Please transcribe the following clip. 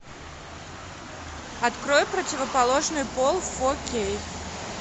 открой противоположный пол фо кей